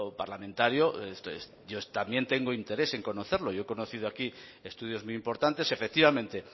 parlamentario yo también tengo interés en conocerlo yo he conocido aquí estudios muy importantes efectivamente